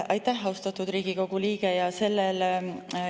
Aitäh, austatud Riigikogu liige!